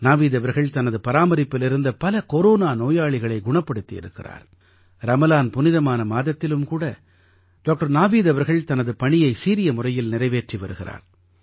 நாவீத் அவர்கள் தனது பராமரிப்பில் இருந்த பல கொரோனா நோயாளிகளைக் குணப்படுத்தி இருக்கிறார் ரமலான் புனிதமான மாதத்திலும் கூட டாக்டர் நாவீத் அவர்கள் தனது பணியை சீரிய முறையில் நிறைவேற்றி வருகிறார்